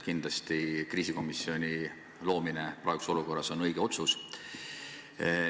Kindlasti on praeguses olukorras kriisikomisjoni loomine õige otsus.